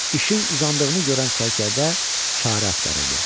İşin uzandığını görən sərkərdə çarə axtarırdı.